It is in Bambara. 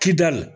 Kidali